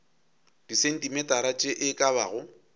disentimetara tše e ka bago